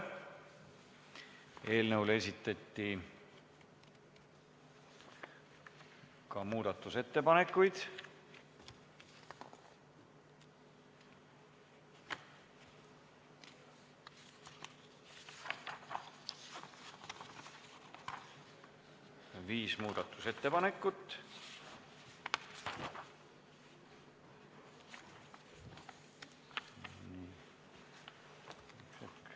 Eelnõule esitati ka muudatusettepanekuid, viis muudatusettepanekut.